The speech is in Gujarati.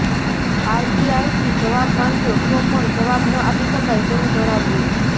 આરટીઆઇથી જવાબ માંગ્યો તો પણ જવાબ ન આપી શકાય તેવુ જણાવ્યુ